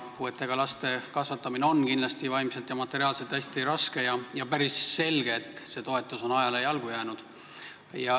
Puudega laste kasvatamine on kindlasti vaimselt ja materiaalselt hästi raske ja päris selge, et see toetus on ajale jalgu jäänud.